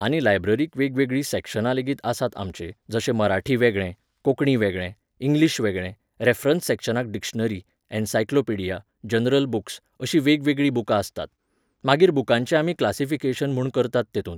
आनी लायब्ररीक वेगवेगळीं सॅक्शनां लेगीत आसात आमचे, जशें मराठी वेगळें, कोंकणी वेगळें, इंग्लीश वेगळें, रेफरन्स सॅक्शनाक डिक्शनरी, एनसायक्लोपिडिया, जनरल बूक्स, अशीं वेगवेगळीं बुकां आसतात. मागीर बुकांचें आमी क्लासिफिकेशन म्हूण करतात तेतूंत.